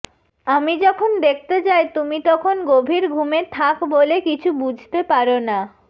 আমি যখন দেখতে যাই তুমি তখন গভীর ঘুমে থাক বলে কিছু বুঝতে পার না